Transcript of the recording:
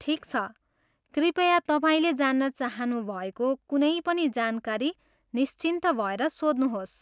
ठिक छ, कृपया तपाईँले जान्न चाहनुभएको कुनै पनि जानकारी निश्चिन्त भएर सोध्नुहोस्।